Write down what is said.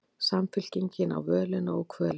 Samfylkingin á völina og kvölina